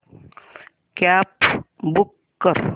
cab book कर